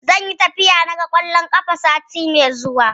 Zan yi tafiya na ga ƙwallon kafa, sati mai zuwa.